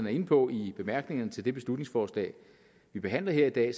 er inde på i bemærkningerne til det beslutningsforslag vi behandler her i dag